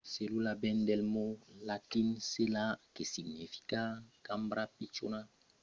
cellula ven del mot latin cella que significa cambra pichona